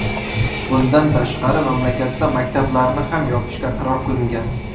Bundan tashqari, mamlakatda maktablarni ham yopishga qaror qilingan.